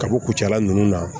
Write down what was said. Ka bɔ kucala ninnu na